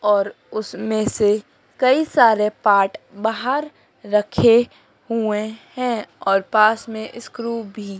और उसमें से कई सारे पार्ट बाहर रखे हुए हैं और पास में स्क्रू भी--